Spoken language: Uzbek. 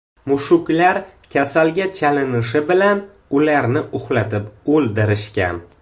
Mushuklar kasalga chalinishi bilan, ularni uxlatib o‘ldirishgan.